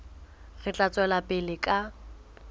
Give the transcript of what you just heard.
re tla tswela pele ka